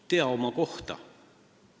Tea oma kohta!